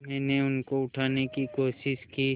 मैंने उनको उठाने की कोशिश की